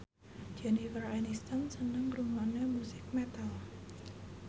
Jennifer Aniston seneng ngrungokne musik metal